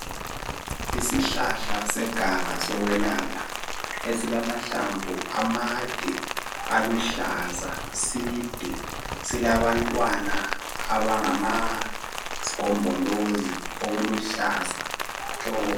Isihlahla seganga sokwelapha elimahlamvu amade angumbala oluhlaza side silabantwana abayisgombolozi okuluhlaza tshoko